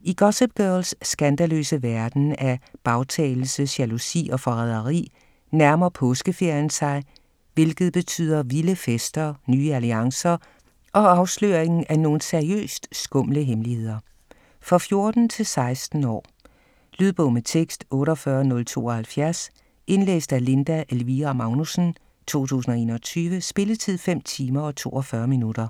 I Gossip Girls skandaløse verden af bagtalelse, jalousi og forræderi, nærmer påskeferien sig, hvilket betyder vilde fester, nye alliancer og afsløringen af nogle seriøst skumle hemmeligheder. For 14-16 år. Lydbog med tekst 48072 Indlæst af Linda Elvira Magnussen, 2021. Spilletid: 5 timer, 42 minutter.